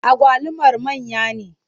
Agwalumar manya ne?